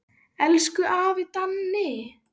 Elsku afi Danni.